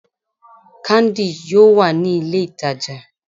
Candi, yoo wa ni ile itaja